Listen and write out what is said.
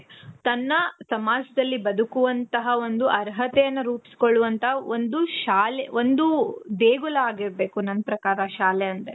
ತನ್ನ ಸಮಾಜದಲ್ಲಿ ಬದುಕುವಂತಹ ಒಂದು ಅರ್ಹತೆಯನ್ನ ರೂಪ್ಸ್ಕೊಳ್ಳುವಂತ ಒಂದು ಶಾಲೆ, ಒಂದು ದೇಗುಲ ಆಗಿರ್ಬೇಕು ನನ್ ಪ್ರಕಾರ ಶಾಲೆ ಅಂದ್ರೆ